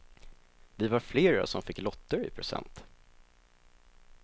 Vi var flera som fick lotter i present.